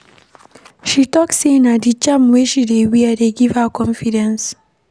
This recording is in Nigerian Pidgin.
She tok sey na di charm wey she dey wear dey give her confidence.